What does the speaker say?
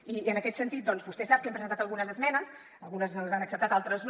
i en aquest sentit doncs vostè sap que hem presentat algunes esmenes algunes ens les han acceptat altres no